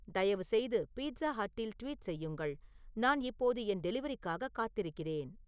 தயவுசெய்து பீட்சா ஹட்டில் ட்வீட் செய்யுங்கள் நான் இப்போது என் டெலிவரிக்காக காத்திருக்கிறேன்